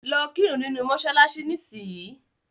Lọ́ kírun nínu mọ́ṣáláṣí nísìnyìí.